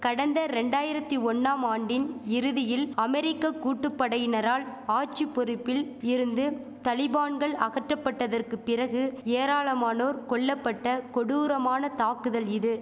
கடந்த ரெண்டாயிரத்தி ஒன்னாம் ஆண்டின் இறுதியில் அமெரிக்க கூட்டுப்படையினரால் ஆட்சிப்பொறுப்பில் இருந்து தலிபான்கள் அகற்றபட்டதற்கு பிறகு ஏராளமானோர் கொல்லபட்ட கொடூரமான தாக்குதல் இது